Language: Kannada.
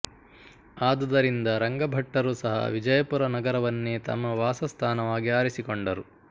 ಆದುದರಿಂದ ರಂಗಭಟ್ಟರು ಸಹ ವಿಜಯಪುರ ನಗರವನ್ನೇ ತಮ್ಮ ವಾಸಸ್ಥಾನವಾಗಿ ಆರಿಸಿಕೊಂಡರು